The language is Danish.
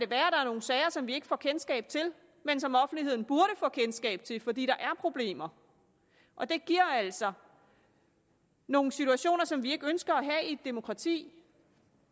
der er nogle sager som vi ikke får kendskab til men som offentligheden burde få kendskab til fordi der er problemer og det giver altså nogle situationer som vi ikke ønsker at have i et demokrati